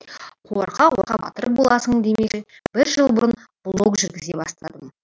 қорқа қорқа батыр боласың демекші бір жыл бұрын блог жүргізе бастадым